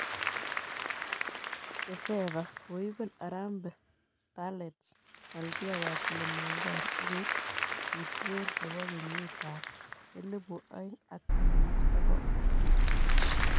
CECAFA:koibel Harambee Starlets Malkia wa Kilimanjaro ak koib kuutwet nebo kenyitab elebu oeng ak taman ak sokol